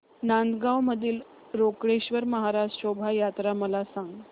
नांदगाव मधील रोकडेश्वर महाराज शोभा यात्रा मला सांग